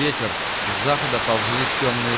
ветер с запада ползли тёмные